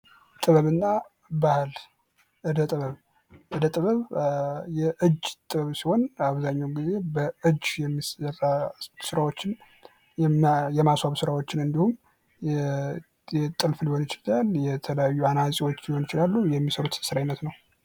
ጥበብና ባህል እደ ጥበብ እደ ጥበብ የእጅ ጥበብ ሲሆን አብዛኛውን ጊዜ በእጅ የሚሰራ ስራዎችን የማስዋብ ስራዎችን እንዲሁም ጥልፍ ሊሆን ይችላል የተለያዩ አናፂዎች ሊሆን ይችላል የሚሰሩት የስራ አይነት ነው።